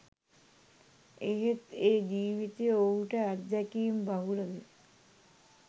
එහෙත් ඒ ජීවිතය ඔහුට අත්දැකීම් බහුල ව